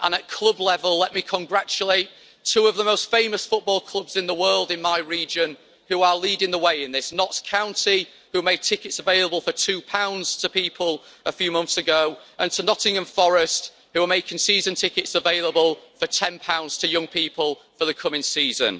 And at club level, let me congratulate two of the most famous football clubs in the world in my region, who are leading the way in this Notts County, who made tickets available for GBP 2 to people a few months ago, and to Nottingham Forest, who are making season tickets available for GBP 10 to young people for the coming season.